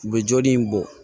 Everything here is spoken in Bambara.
U bɛ joli in bɔ